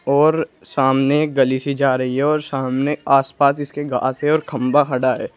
और सामने गली सी जा रही है और शामने आस पास इसके घास है और खंबा खड़ा है।